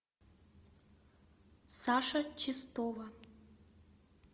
саша чистова